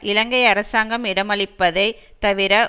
இலங்கை அரசாங்கம் இடமளிப்பதை தவிர